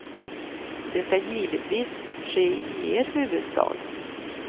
Det ska givetvis ske i er huvudstad.